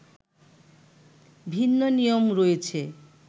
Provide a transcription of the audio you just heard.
ভিন্ন নিয়ম রয়েছে